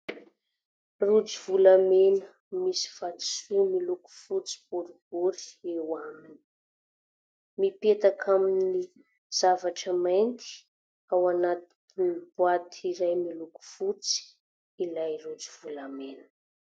Rojo volamena misy vatosoa miloko fotsy boribory eo aminy; mipetaka amin'ny zavatra mainty ao anatiny boaty iray miloko fotsy ilay rojo volamena.